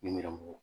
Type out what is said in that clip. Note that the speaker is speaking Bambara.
Nɛrɛmuguma